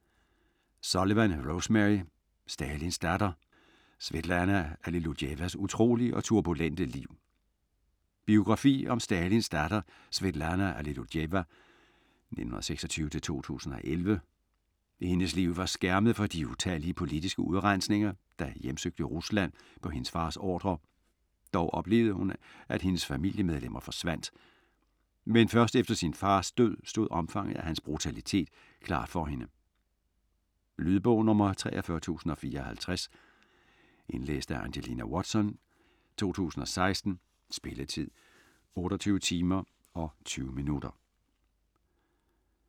Sullivan, Rosemary: Stalins datter: Svetlana Allilujevas utrolige og turbulente liv Biografi om Stalins datter Svetlana Allilujeva (1926-2011). Hendes liv var skærmet for de utallige politiske udrensninger, der hjemsøgte Rusland på hendes fars ordre, dog oplevede hun at hendes familiemedlemmer forsvandt. Men først efter sin fars død stod omfanget af hans brutalitet klart for hende. Lydbog 43054 Indlæst af Angelina Watson, 2016. Spilletid: 28 timer, 20 minutter.